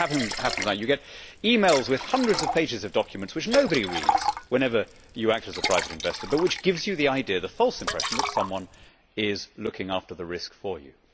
That is what happens now you get e mails with hundreds of pages of documents which nobody reads whenever you act as a private investor, but which gives you the idea, the false impression that someone is looking after the risk for you.